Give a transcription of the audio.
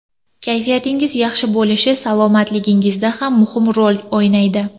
Kayfiyatingiz yaxshi bo‘lishi salomatligingizda ham muhim rol o‘ynaydi.